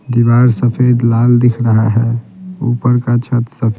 दीवार सफेद लाल दिख रहा है ऊपर का छत सफेद--